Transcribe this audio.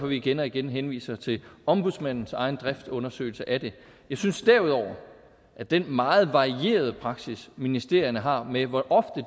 vi igen og igen henviser til ombudsmandens egen driftundersøgelse af det jeg synes derudover at den meget varierede praksis ministerierne har med hvor ofte